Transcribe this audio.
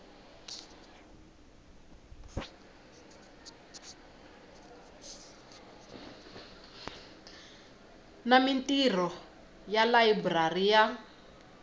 na mintirho ya layiburari ya